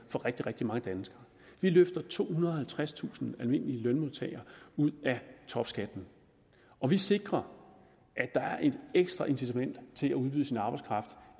rigtig rigtig mange danskere vi løfter tohundrede og halvtredstusind almindelige lønmodtagere ud af topskatten og vi sikrer at der er et ekstra incitament til at udbyde sin arbejdskraft